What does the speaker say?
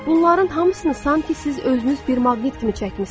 Bunların hamısını sanki siz özünüz bir maqnit kimi çəkmisiniz.